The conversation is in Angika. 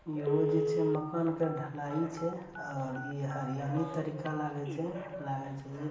इहो जे छै मकान के ढलाई छै और इ हरियाली तरीका लागे छै लागे छै जे --